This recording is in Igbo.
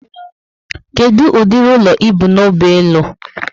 Kedu ụdịrị ụlọ ibu n'obi ịlụ?